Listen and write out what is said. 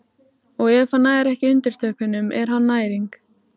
Og ef hann nær ekki undirtökunum er hann næring.